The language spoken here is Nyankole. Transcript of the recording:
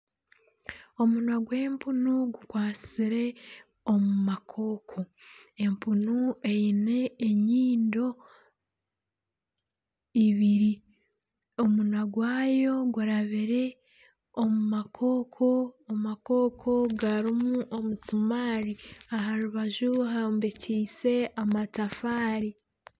Omunwa gw'empunu gukwasire omu makooko. Empunu eine enyindo ibiri. Omunwa gwayo gurabire omu makooko. Amakooko garimu omusimaari aha rubaju hombekyeise amatafaari.